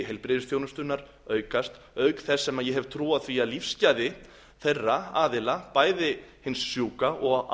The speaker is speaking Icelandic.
heilbrigðisþjónustunnar aukast auk þess sem ég hef trú á því að lífsgæði þeirra aðila bæði hins sjúka og